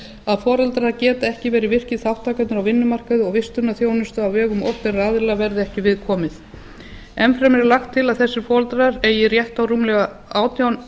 að foreldrar geta ekki verið virkir þátttakendur á vinnumarkaði og vistunarþjónustu á vegum opinberra aðila verði ekki við komið enn fremur er lagt til að þessir foreldrar eigi rétt á rúmlega átján